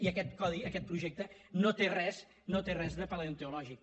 i aquest codi aquest projecte no té res no en té res de paleontològic